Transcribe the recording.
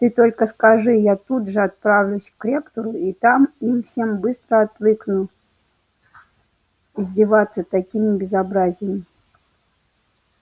ты только скажи я тут же отправлюсь к ректору и там им всем быстро отвыкну издеваться такими безобразием